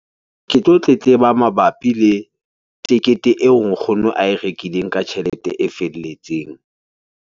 Ke tlo tletleba mabapi le tekete eo nkgono ae rekileng ka tjhelete e felletseng.